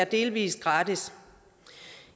delvis gratis